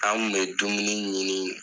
An kun mɛ dumuni ɲini yen